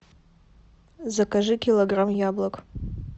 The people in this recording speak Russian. закажи килограмм яблок